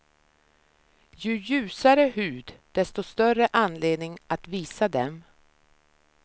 Ju ljusare hud, desto större anledning att visa dem.